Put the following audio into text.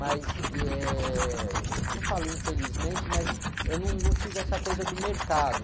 Mas, ih, eh, não falo infelizmente, mas eu não, não tive essa coisa do mercado.